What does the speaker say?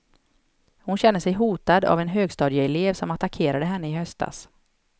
Hon känner sig hotad av en högstadieelev som attackerade henne i höstas.